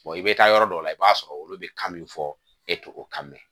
i bɛ taa yɔrɔ dɔw la i b'a sɔrɔ olu bɛ kan min fɔ e tɛ o kan mɛn